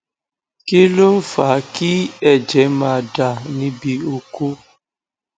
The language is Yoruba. kí ló ń fa ki eje ma da nibi oko